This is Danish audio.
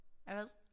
A hvad?